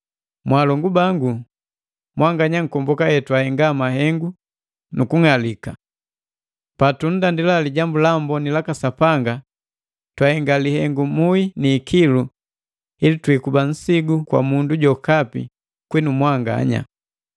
Mwaalongu bangu, mwanganya nkomboka hetwahenga mahengu nukung'alika. Patunndandila Lijambu la Amboni laka Sapanga twahenga lihengu muhi ni ikilu ili twiikuba nsigu kwa mundu jokapi kwinu mwanganya.